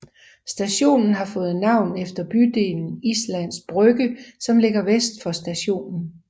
Stationen har fået navn efter bydelen Islands Brygge som ligger vest for stationen